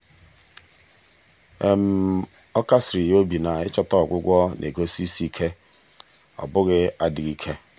ọ kasiri ya obi na ịchọta ọgwụgwọ na-egosi isi ike ọ bụghị adịghị ike.